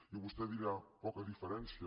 i vostè dirà poca diferència